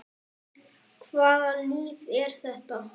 En hvaða lyf er þetta?